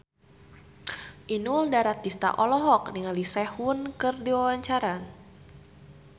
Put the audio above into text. Inul Daratista olohok ningali Sehun keur diwawancara